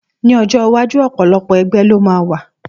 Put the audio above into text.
Ní ọjọ́ iwájú, ọ̀pọ̀lọpọ̀ ẹgbẹ́ ló máa wà